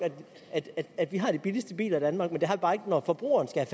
at vi har de billigste biler i danmark men det har vi bare ikke når forbrugerne skal